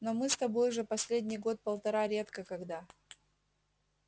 но мы с тобой же последний год-полтора редко когда